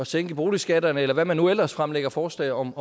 sænke boligskatterne eller hvad man nu ellers fremlægger forslag om